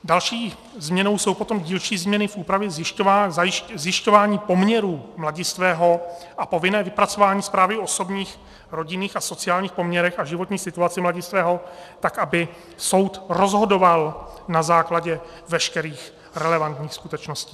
Další změnou jsou potom dílčí změny v úpravě zjišťování poměrů mladistvého a povinné vypracování zprávy o osobních, rodinných a sociálních poměrech a životní situaci mladistvého, tak aby soud rozhodoval na základě veškerých relevantních skutečností.